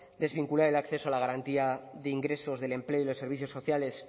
desvincular el acceso a la garantía de ingresos del empleo y los servicios sociales